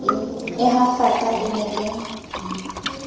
e hafaka e ne e